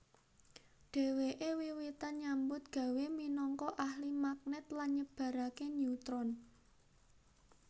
Dheweke wiwitan nyambut gawé minangka ahli magnet lan nyebarake neutron